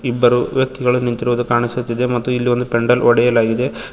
ಇಬ್ಬರು ವ್ಯಕ್ತಿಗಳು ನಿಂತಿರುವುದು ಕಾಣಿಸುತ್ತಿದೆ ಮತ್ತು ಇಲ್ಲಿ ಪೆಂಡಲ್ ಹೊಡೆಯಲಾಗಿದೆ ಮ್--